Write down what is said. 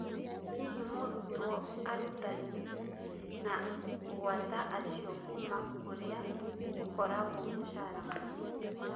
Hihi mũrutwo arutani ( na gwata acio kuuma kũria gũkoragwo mũcara mũnini